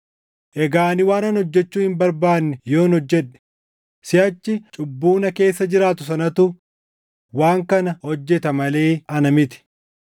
Egaa ani waanan hojjechuu hin barbaanne yoon hojjedhe, siʼachi cubbuu na keessa jiraatu sanatu waan kana hojjeta malee ana miti.